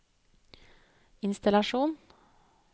innstallasjon